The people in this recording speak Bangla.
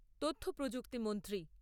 তথ্যপ্রযুক্তি মন্ত্রী